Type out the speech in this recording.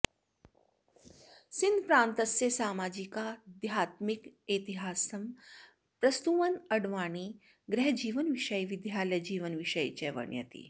सिन्धप्रान्तस्य सामाजिकाध्यात्मिकेतिहासं प्रस्तुवन् अड्वाणी गृहजीवनविषये विद्यालयजीवनविषये च वर्णयति